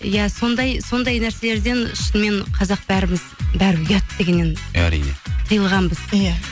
иә сондай нәрселерден шынымен қазақ бәріміз бәрібір ұят дегеннен әрине тыйылғанбыз иә